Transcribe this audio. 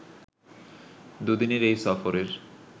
দুদিনের এই সফরের